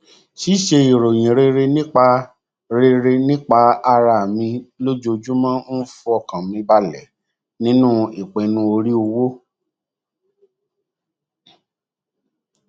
ṣíṣe ìròyìn rere nípa rere nípa ara mi lojoojúmọ um ń fọkàn mi balẹ nínú ipinnu orí owó